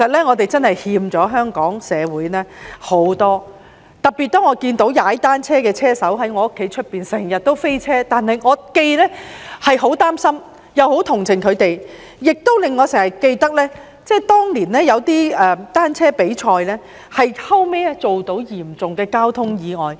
我們真的欠了香港社會很多，特別是當我看到一些單車車手經常在我家外面"飛車"，我既擔心又很同情他們，亦令我想起當年有些單車比賽造成的嚴重交通意外。